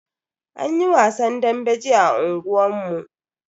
Anyi wasan dambe jiya a unguwan mu.